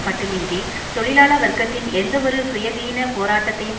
மட்டுமன்றி தொழிலாள வர்க்கத்தின் எந்தவொரு சுயதீன போராட்டத்தையும்